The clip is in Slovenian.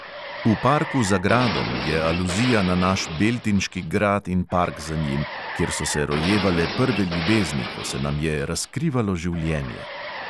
V parku za gradom je aluzija na naš beltinški grad in park za njim, kjer so se rojevale prve ljubezni, ko se nam je razkrivalo življenje.